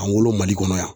An wolo mali kɔnɔ yan